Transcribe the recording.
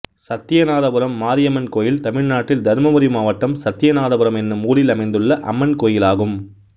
சத்தியநாதபுரம் மாரியம்மன் கோயில் தமிழ்நாட்டில் தர்மபுரி மாவட்டம் சத்தியநாதபுரம் என்னும் ஊரில் அமைந்துள்ள அம்மன் கோயிலாகும்